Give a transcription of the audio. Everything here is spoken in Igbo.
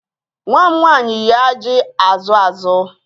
Nwa m nwanyị yi ajị azụ azụ